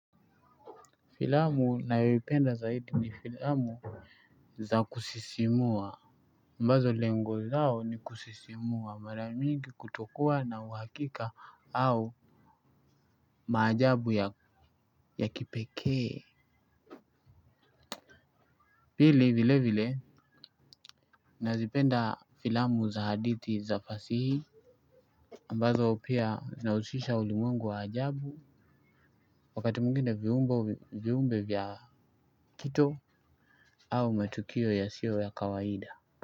Filamu nayoipenda zaidi ni filamu za kusisimua ambazo lengo lao ni kusisimua mara mingi kutokua na uhakika au maajabu ya kipekee pili vile vile nazipenda filamu za hadithi za fasihi ambazo pia zinahusisha ulimwengu wa ajabu wakati mwingine viumbe vya kito au matukio ya siyo ya kawaida.